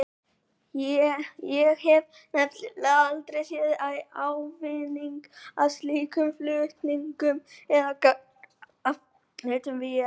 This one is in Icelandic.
Ég hef nefnilega aldrei séð ávinning af slíkum flutningum eða gagn af nautn vímuefna.